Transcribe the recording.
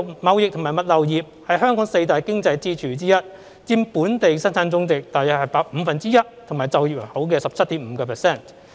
貿易及物流業是香港四大經濟支柱之一，佔本地生產總值約五分之一和就業人口的 17.5%。